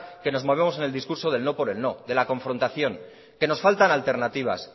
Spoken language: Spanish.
que nos movemos en el discurso del no por el no de la confrontación que nos faltan alternativas